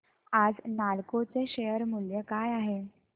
आज नालको चे शेअर मूल्य काय आहे